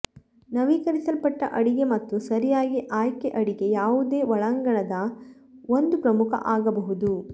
ನವೀಕರಿಸಲ್ಪಟ್ಟ ಅಡಿಗೆ ಮತ್ತು ಸರಿಯಾಗಿ ಆಯ್ಕೆ ಅಡಿಗೆ ಯಾವುದೇ ಒಳಾಂಗಣದ ಒಂದು ಪ್ರಮುಖ ಆಗಬಹುದು